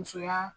Musoya